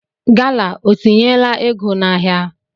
Gala o tinyela ego n'ahịa?